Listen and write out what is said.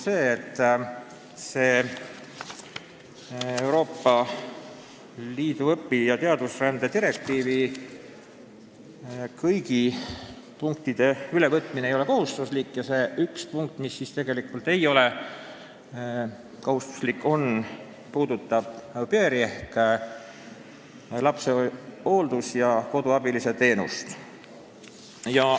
Euroopa Liidu õpi- ja teadusrände direktiivi kõigi punktide ülevõtmine ei ole tegelikult kohustuslik ja üks selline punkt puudutab au pair'i ehk lapsehoidja-koduabilise teenust.